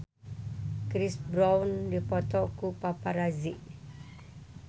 Chris Brown dipoto ku paparazi